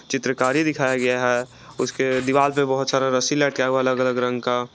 चित्रकारी दिखाया गया है उसके दीवाल पे बहोत सारा रस्सी लटका हुआ है अलग अलग रंग का।